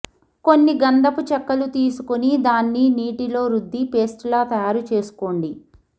కొన్ని గంధపు చెక్కలు తీసుకుని దాన్ని నీటిలో రుద్ది పేస్టులా తయారు చేసుకోండి